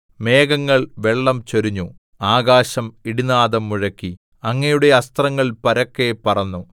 മേഘങ്ങൾ വെള്ളം ചൊരിഞ്ഞു ആകാശം ഇടിനാദം മുഴക്കി അങ്ങയുടെ അസ്ത്രങ്ങൾ പരക്കെ പറന്നു